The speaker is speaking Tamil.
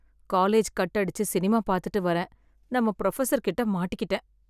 காலேஜ் கட் அடிச்சு, சினிமா பாத்துட்டு வரேன், நம்ம ப்ரொஃபசர் கிட்ட மாட்டிகிட்டேன்.